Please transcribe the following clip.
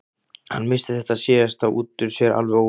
Hann missti þetta síðasta út úr sér alveg óvart.